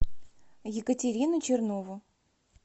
екатерину чернову